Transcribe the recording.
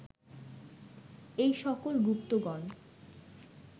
এই সকল গুপ্তগণ